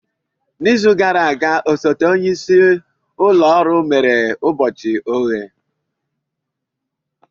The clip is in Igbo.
N'izu gara aga, osote onye isi ụlọ ọrụ mere ụbọchị oghe.